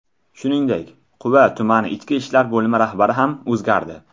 Shuningdek, Quva tumani Ichki ishlar bo‘limi rahbari ham o‘zgardi.